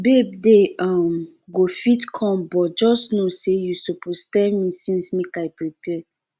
babe dey um go fit come but just no say you suppose tell me since make i prepare